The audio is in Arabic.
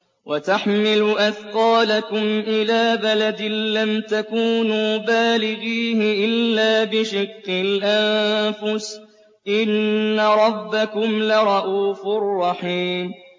وَتَحْمِلُ أَثْقَالَكُمْ إِلَىٰ بَلَدٍ لَّمْ تَكُونُوا بَالِغِيهِ إِلَّا بِشِقِّ الْأَنفُسِ ۚ إِنَّ رَبَّكُمْ لَرَءُوفٌ رَّحِيمٌ